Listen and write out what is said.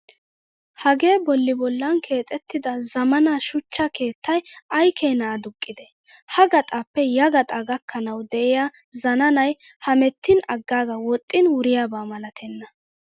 Hagee bolli bollan keexettida zammaana shuchcha keettayi ayikeena aduqqidee! Ha gaxaappe yagaxaa gakkanawu de'iyaa zananayi hemettin aggaaga woxxin wuriyaaba malatenna.